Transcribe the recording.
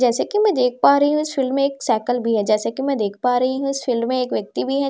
जैसे कि मैं देख पा रही हूं इस फिल्म एक साइकिल भी है जैसे कि मैं देख पा रही हूं इस फिल्म में एक व्यक्ति भी है ज--